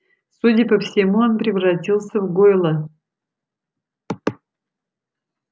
судя по всему он превратился в гойла